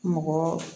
Mɔgɔ